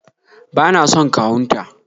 bana son kawun ta